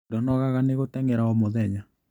Ndũnogaga nĩgũtengera o mũthenya?